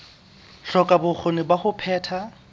hloka bokgoni ba ho phetha